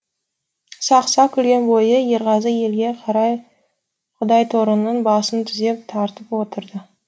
сақ сақ күлген бойы ерғазы елге қарай құдайторының басын түзеп тартып отырды